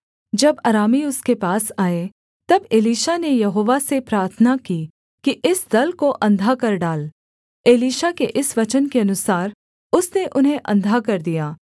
जब अरामी उसके पास आए तब एलीशा ने यहोवा से प्रार्थना की कि इस दल को अंधा कर डाल एलीशा के इस वचन के अनुसार उसने उन्हें अंधा कर दिया